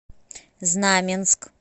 знаменск